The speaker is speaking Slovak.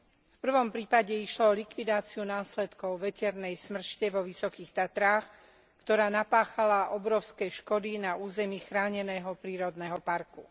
V prvom prípade išlo o likvidáciu následkov veternej smršti vo Vysokých Tatrách, ktorá napáchala obrovské škody na území chráneného prírodného parku.